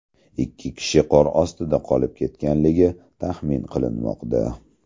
Ikki kishi qor ostida qolib ketganligi taxmin qilinmoqda.